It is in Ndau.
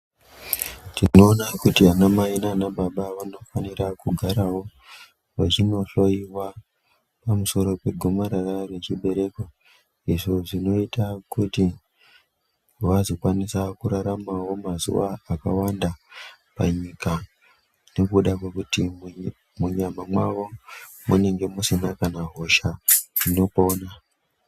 Tinoona kuti vana mai nana baba vanofanira kugaravo vachinohloiwa pamusoro pegomarara rechibereko. Izvo zvinoita kuti vazokwanisa kuraramavo mazuva akawanda panyika nekuda kwekuti munyama mwavo munenge musina kana hosha inopona.